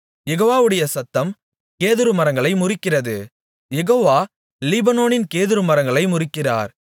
யெகோவாவுடைய சத்தம் கேதுருமரங்களை முறிக்கிறது யெகோவா லீபனோனின் கேதுருமரங்களை முறிக்கிறார்